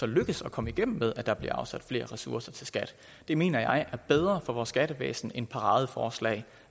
lykkes at komme igennem med at der bliver afsat flere ressourcer til skat det mener jeg er bedre for vores skattevæsen end paradeforslag